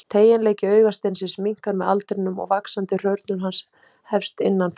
Teygjanleiki augasteinsins minnkar með aldrinum og vaxandi hrörnun hans hefst innan frá.